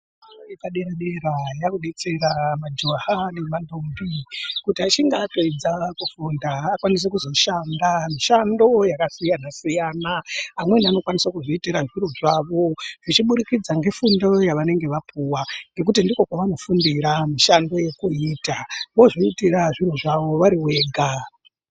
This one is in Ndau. Fundo yepadera-dera yakudetsera majaha nemandombi kuti achinge apedza kufunda akwanise kuzoshanda mishando yakasiyanasiyana amweni anokwanise kuzviitira zvikora zvawo zvichiburikidza ngefundo yavenge vapuwa ngekuti ndiko kwavanofundira mishando yekuita vozviitira zviro zvavo varivega.